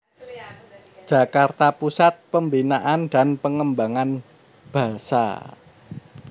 Jakarta Pusat Pembinaan dan Pengembangan Basa